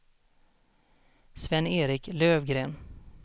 Sven-Erik Lövgren